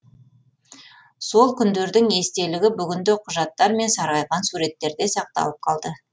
сол күндердің естелігі бүгінде құжаттар мен сарғайған суреттерде сақталып қалды